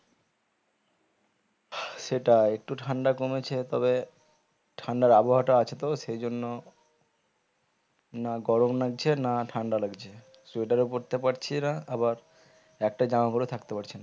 সেটাই একটু ঠান্ডা কমেছে তবে ঠান্ডার আবহাওয়া টা আছে তো সেই জন্য না গরম লাগছে না ঠান্ডা লাগছে sweater ও পরতে পারছি না আবার একটা জামা পরেও থাকতে পারছি না